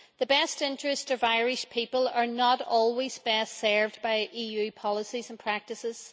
The best interests of Irish people are not always best served by EU policies and practices.